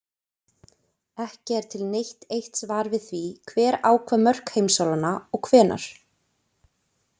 Ekki er til neitt eitt svar við því hver ákvað mörk heimsálfanna og hvenær.